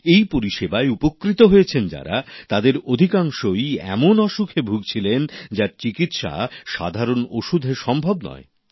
এই পরিষেবায় উপকৃত হয়েছেন যারা তাদের অধিকাংশই এমন অসুখে ভুগছিলেন যার চিকিৎসা সাধারণ ওষেুধ সম্ভব নয়